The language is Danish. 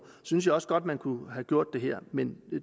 synes jeg også godt man kunne have gjort her men